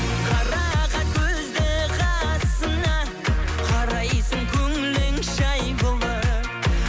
қарақат көзді қасыңа қарайсың көңілің жай болып